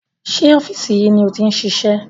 Sé ọ́fíìsì yìí ni o ti ń ṣiṣẹ́?